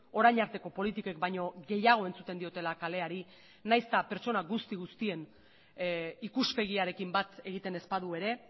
orain arteko politikek baino gehiago entzuten diotela kaleari nahiz eta pertsona guzti guztien ikuspegiarekin bat egiten ez badu ere